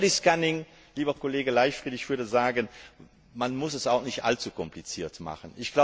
Zum Bodyscanning, lieber Kollege Leichtfried Ich würde sagen, man muss es auch nicht allzu kompliziert machen.